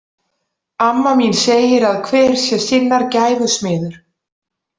Amma mín segir að hver sé sinnar gæfu smiður.